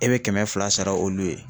E bɛ kɛmɛ fila sara olu ye.